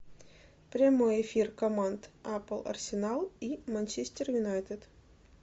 прямой эфир команд апл арсенал и манчестер юнайтед